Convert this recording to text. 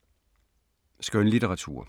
Skønlitteratur